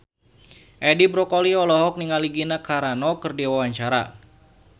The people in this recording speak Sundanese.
Edi Brokoli olohok ningali Gina Carano keur diwawancara